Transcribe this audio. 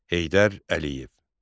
Heydər Əliyev.